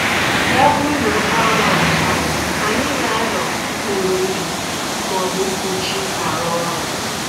Ya bụrụ n'oke anwụ achaa, anyị na-anọ n'okpuru ndo maọbụ mkpuchi arụ ọrụ